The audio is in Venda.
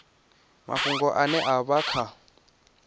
mafhungo ane a vha kha